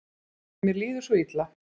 Mér líður svo illa.